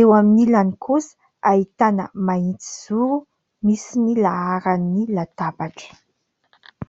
eo amin'ny ilany kosa ahitana mahitsy zoro misy ny laharan'ny latabatra.